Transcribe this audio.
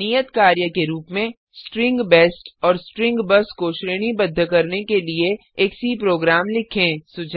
नियत कार्य के रूप में स्ट्रींग बेस्ट और स्ट्रिंग बस को श्रेणीबद्ध करने के लिए एक सी प्रोग्राम लिखें